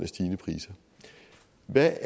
af